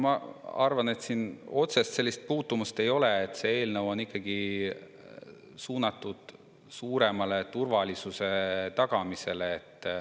Ma arvan, et siin otsest puutumust ei ole, see eelnõu on ikkagi suunatud suurema turvalisuse tagamisele.